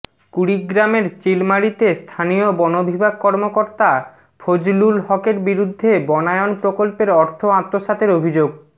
কুড়িগ্রামের চিলমারীতে স্থানীয় বনবিভাগ কর্মকর্তা ফজলুল হকের বিরুদ্ধে বনায়ন প্রকল্পের অর্থ আত্মসাতের অভিযোগ